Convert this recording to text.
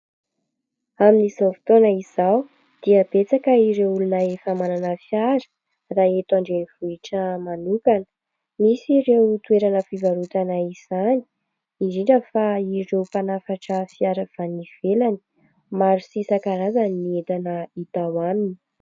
Amin'izao fotoana izao dia betsaka ireo olona efa manana fiara raha eto andrenivohitra manokana. Misy ireo toerana fivarotana izany, indrindra fa ireo mpanafatra fiara avy any ivelany; maro sy isan-karazany ny entana hita ao aminy.